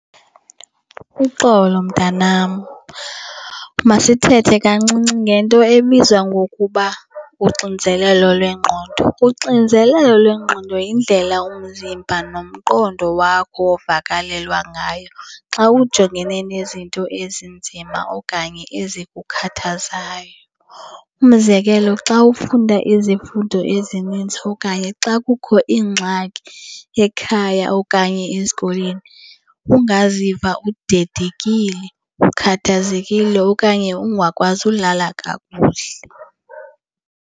Uxolo mntanam, masithethe kancinci ngento ebizwa ngokuba uxinzelelo lwengqondo. Uxinzelelo lwengqondo yindlela umzimba nomqondo wakho ovakalelwa ngayo xa ujongene nezinto ezinzima okanye ezikukhathazayo. Umzekelo, xa ufunda izifundo ezininzi okanye xa kukho ingxaki ekhaya okanye esikolweni ungaziva udedekile, ukhathazekile okanye ungakwazi ulala kakuhle.